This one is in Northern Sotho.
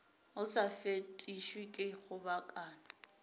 o sa fetišwe ke kgobokano